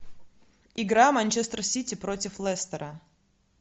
игра манчестер сити против лестера